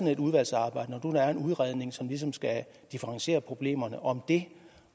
et udvalgsarbejde når nu der er en udredning som ligesom skal differentiere problemerne om det